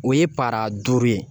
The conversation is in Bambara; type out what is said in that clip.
O ye paara duuru ye